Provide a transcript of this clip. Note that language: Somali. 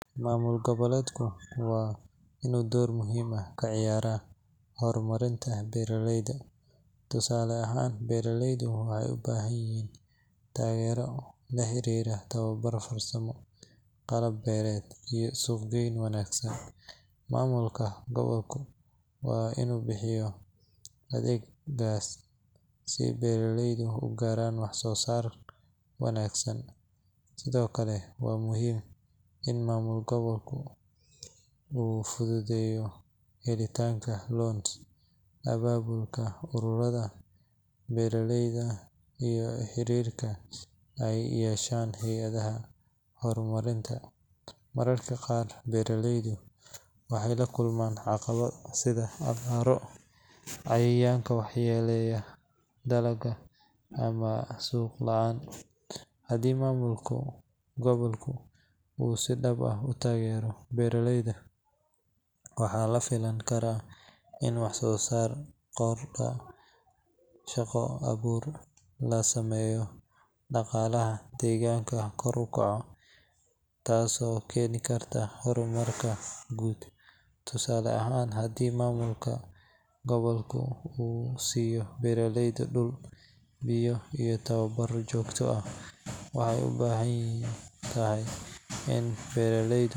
Maamulka gobolku waa inuu door muhiim ah ka ciyaaraa horumarinta beeraleyda. Tusaale ahaan, beeraleydu waxay u baahan yihiin taageero la xiriirta tababar farsamo, qalab beereed, iyo suuq-geyn wanaagsan. Maamulka gobolku waa inuu bixiyo adeegyadaas si beeraleydu u gaaraan wax-soo-saar wanaagsan. Sidoo kale, waxaa muhiim ah in maamulka gobolku uu fududeeyo helitaanka loans, abaabulka ururada beeraleyda iyo xiriirka ay la yeeshaan hay’adaha horumarinta. Mararka qaar, beeraleydu waxay la kulmaan caqabado sida abaaro, cayayaanka waxyeelleeya dalagga ama suuq la’aan. Haddii maamulka gobolku uu si dhab ah u taageero beeraleyda, waxa la filan karaa in wax-soo-saarka kordho, shaqo abuur la sameeyo, dhaqaalaha deegaanka kor u kaco, taasoo keeni karta horumar guud. Tusaale ahaan, haddii maamulka gobolku uu siiyo beeraleyda dhul, biyo iyo tababaro joogto ah, waxay u badan tahay in beeraleydu.